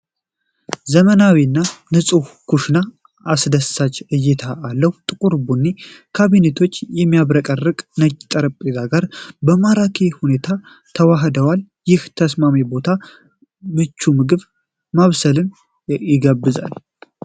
ዘመናዊው እና ንጹህ ኩሽና አስደሳች እይታ አለው። ጥቁር ቡኒ ካቢኔቶች ከሚያብረቀርቅ ነጭ ጠረጴዛ ጋር በማራኪ ሁኔታ ተዋህደዋል። ይህ ተስማሚ ቦታ ምቹ ምግብ ማብሰልን ይጋብዛል።